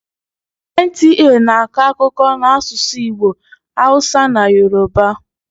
NTA na-akọ akụkọ n'asụsụ Igbo, hausa na yoruba.